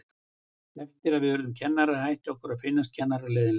Eftir að við urðum kennarar hætti okkur að finnast kennararnir leiðinlegir.